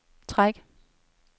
træk